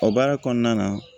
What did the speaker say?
O baara kɔnɔna na